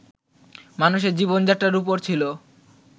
মানুষের জীবন যাত্রার উপর ছিল